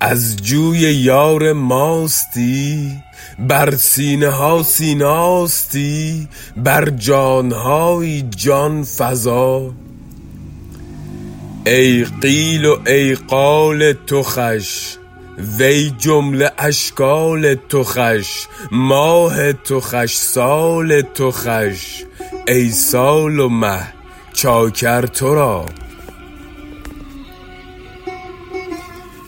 از جوی یار ماستی بر سینه ها سیناستی بر جان هایی جان فزا ای قیل و ای قال تو خوش و ای جمله اشکال تو خوش ماه تو خوش سال تو خوش ای سال و مه چاکر تو را